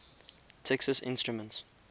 texas instruments